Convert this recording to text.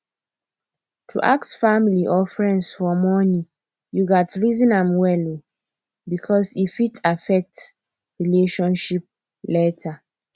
to ask family or friends for money you gats reason am well um because e fit affect relationship later